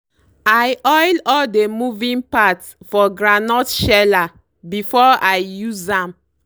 i oil all dey moving part for groundnut sheller before i use am.